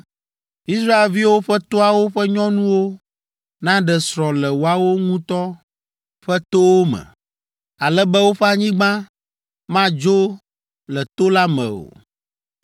Israelviwo ƒe toawo ƒe nyɔnuwo naɖe srɔ̃ le woawo ŋutɔ ƒe towo me, ale be woƒe anyigba madzo le to la me o.